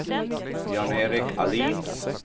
Jan-Erik Ahlin